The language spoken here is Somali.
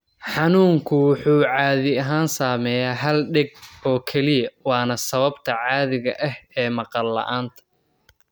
Xanuunku wuxuu caadi ahaan saameeya hal dheg oo keliya waana sababta caadiga ah ee maqal la'aanta.